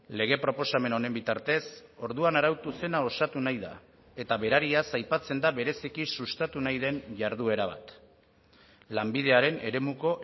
lege proposamen honen bitartez orduan arautu zena osatu nahi da eta berariaz aipatzen da bereziki sustatu nahi den jarduera bat lanbidearen eremuko